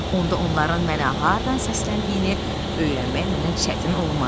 Onda onların mənə hardan səsləndiyini öyrənmək mənə çətin olmaz.